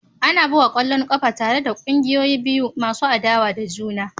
Ana buga ƙwallon ƙafa tare da ƙungiyoyi biyu masu adawa da juna